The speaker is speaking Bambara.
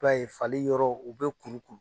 b'a ye fali yɔrɔ u bɛ kuru kuru.